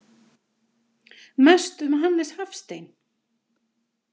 Mest um Hannes Hafstein.